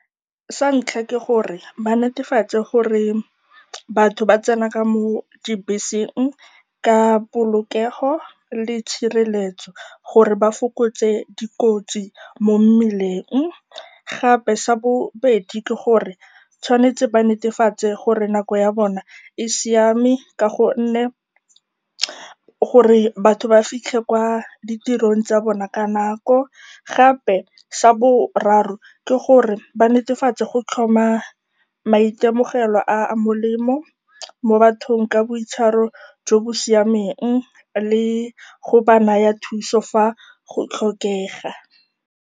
Sa ntlha ke gore ba netefatse gore batho ba tsena ka mo dibeseng ka polokego le tshireletso gore ba fokotse dikotsi mo mmileng. Gape sa bobedi ke gore ba tshwanetse ba netefatse gore nako ya bona e siame gore batho ba fitlhe kwa ditirong tsa bona ka nako. Gape sa boraro ke gore ba netefatse go tlhoma maitemogelo a a molemo mo bathong ka boitshwaro jo bo siameng le go ba naya thuso fa go tlhokega.